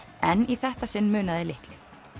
en í þetta sinn munaði litlu